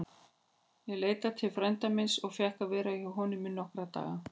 Ég leitaði til frænda míns og fékk að vera hjá honum í nokkra daga.